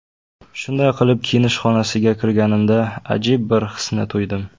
Shunday qilib kiyinish xonasiga kirganimda ajib bir hisni tuydim.